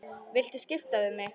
Viltu skipta við mig?